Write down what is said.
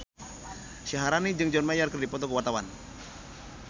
Syaharani jeung John Mayer keur dipoto ku wartawan